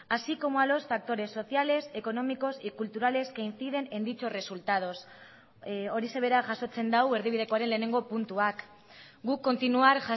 así como a los factores sociales económicos y culturales que inciden en dichos resultados horixe bera jasotzen du erdibidekoaren lehenengo puntuak guk continuar